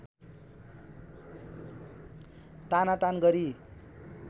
तानातान गरी